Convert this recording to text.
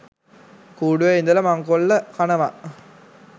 කූඩුවේ ඉදල මංකොල්ල කනවා